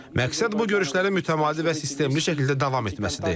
Məqsəd bu görüşlərin mütəmadi və sistemli şəkildə davam etməsidir.